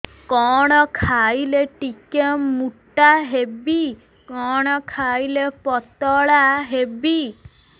କଣ ଖାଇଲେ ଟିକେ ମୁଟା ହେବି କଣ କଲେ ପତଳା ହେବି